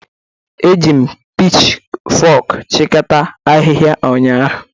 Eji m pichfok chịkọta ahịhịa ụnyahụ.